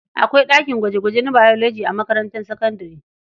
Akwai ɗakin gwaje-gwaje na Biology a makarantar sakabdare.